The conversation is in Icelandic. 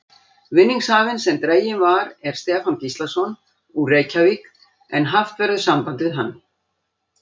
Vinningshafinn sem dreginn var er Stefán Gíslason, úr Reykjavík en haft verður samband við hann.